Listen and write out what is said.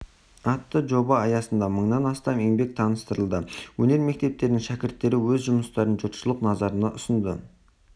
атты жоба аясында мыңнан астам еңбек таныстырылды өнер мектептерінің шәкірттері өз жұмыстарын жұртшылық назарына ұсынды